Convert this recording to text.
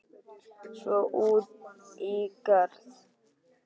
Svo út í garð.